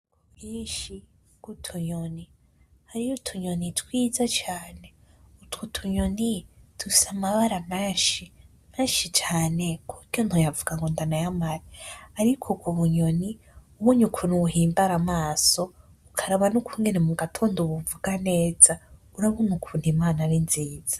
Ubwinshi bwutunyoni hariho twiza cane dufise amabara menshi cane kuburyo ntoyavuga ngo ndanayamare ariko ubonye ukuntu buhimbara amaso ukaraba ningene mugatondo buvuga neza urabona ukuntu imana ari nziza.